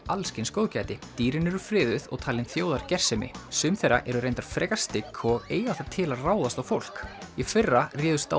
alls kyns góðgæti dýrin eru friðuð og talin þjóðargersemi sum þeirra eru reynda frekar stygg og eiga það til að ráðast á fólk í fyrra réðust